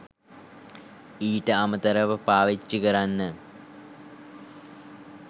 ඊට අමතරව පාවිච්චි කරන්න